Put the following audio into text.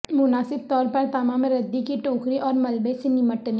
مناسب طور پر تمام ردی کی ٹوکری اور ملبے سے نمٹنے